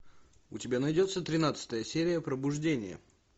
у тебя найдется тринадцатая серия пробуждение